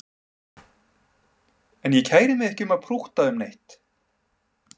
En ég kæri mig ekki um að prútta um neitt